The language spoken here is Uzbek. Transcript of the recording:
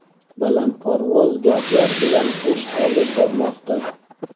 balandparvoz gaplar bilan ish olib bormoqda.